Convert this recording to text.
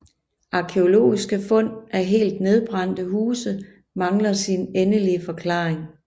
Arkæologiske fund af helt nedbrændte huse mangler sin endelige forklaring